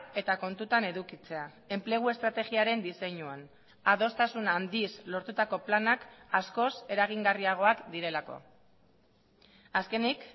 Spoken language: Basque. eta kontutan edukitzea enplegu estrategiaren diseinuan adostasun handiz lortutako planak askoz eragingarriagoak direlako azkenik